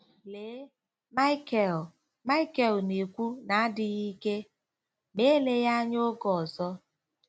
"Lee ," Michael ," Michael na-ekwu n'adịghị ike, " ma eleghị anya oge ọzọ.......? "